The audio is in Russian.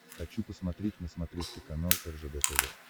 хочу посмотреть на смотрешке канал ржд тв